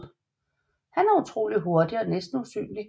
Han er utrolig hurtig og næsten usynlig